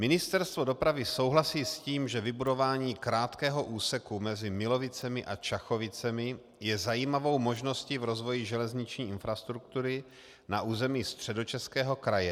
Ministerstvo dopravy souhlasí s tím, že vybudování krátkého úseku mezi Milovicemi a Čakovicemi je zajímavou možností v rozvoji železniční infrastruktury na území Středočeského kraje.